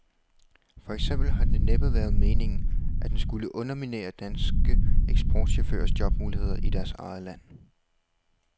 For eksempel har det næppe været meningen, at den skulle underminere danske eksportchaufførers jobmuligheder i deres eget land.